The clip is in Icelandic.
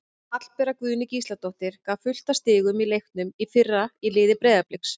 Hallbera Guðný Gísladóttir gaf fullt af stigum í leiknum í fyrra í liði Breiðabliks.